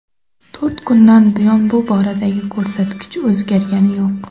To‘rt kundan buyon bu boradagi ko‘rsatkich o‘zgargani yo‘q.